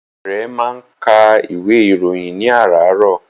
Ìyá rẹ̀ máa ń ka ìwé ìròyìn ní àràárọ̀.